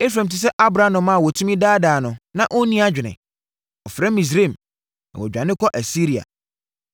“Efraim te sɛ aborɔnoma a wɔtumi daadaa no na ɔnni adwene. Ɔfrɛ Misraim, na wadane akɔ Asiria.